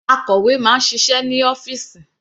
Akọ̀wé máa ń ṣiṣẹ́ ní ọ́fìsì.